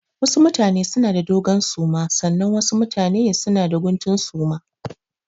Wasu mutane suna da dogon suma sannan wasu mutane suna da guntun suma.